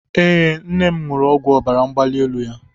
Ee, nne m ṅụrụ ọgwụ ọbara mgbali elu ya.